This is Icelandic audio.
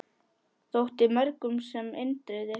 Þótti mörgum sem Indriði í